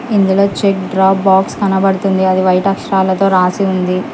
ఇందులో check drop box కనబడుతుంది అది వైట్ అక్షరాలతో రాసి ఉంది.